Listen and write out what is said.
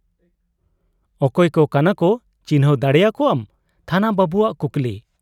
ᱼᱼᱚᱠᱚᱭ ᱠᱚ ᱠᱟᱱᱟᱠᱚ ᱪᱤᱱᱦᱟᱹᱣ ᱫᱟᱲᱮ ᱟᱠᱚᱣᱟᱢ ? ᱛᱷᱟᱱᱟ ᱵᱟᱹᱵᱩᱣᱟᱜ ᱠᱩᱠᱞᱤ ᱾